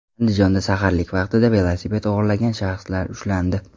Andijonda saharlik vaqtida velosiped o‘g‘irlagan shaxslar ushlandi.